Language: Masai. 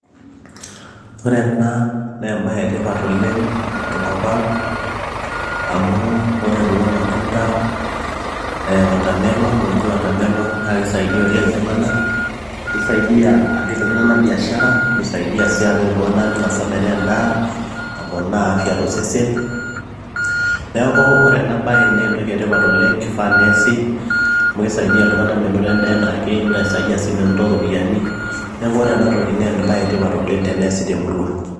Ore ena naa embaye etipat oleng tenkop ang amu ore kulo matunda ee water melon naakeisaidia oleng iltung'anak peisaidia apik iltung'anak biashara nesaidia sii apik iltung'anak meinosaa metaa endaa neponaa afya tosesen neeku ore ena baye naa entoki etipat oleng teneesi amu keisaidia iltung'anak menoto endaa enaake nisaidia sii menoto iropiyiani neeku ore ena toki naa embaye etipat oleng teneesi temurua.